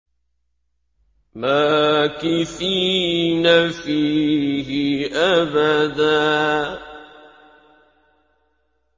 مَّاكِثِينَ فِيهِ أَبَدًا